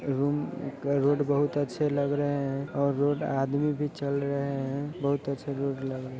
Road बहुत अच्छा लग रहे है और रोड आदमी चल रहे है बहुत अच्छे रोड लग रहे है।